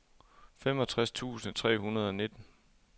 femogtres tusind tre hundrede og nitten